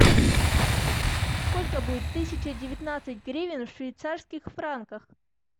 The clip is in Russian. сколько будет тысяча девятнадцать гривен в швейцарских франках